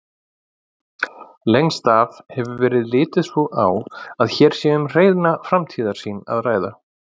Lengst af hefur verið litið svo á að hér sé um hreina framtíðarsýn að ræða.